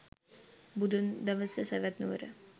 බුදුන් දවස සැවැත්නුවර